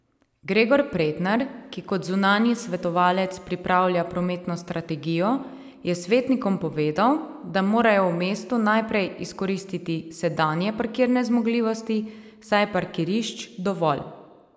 Gregor Pretnar, ki kot zunanji svetovalec pripravlja prometno strategijo, je svetnikom povedal, da morajo v mestu najprej izkoristiti sedanje parkirne zmogljivosti, saj je parkirišč dovolj.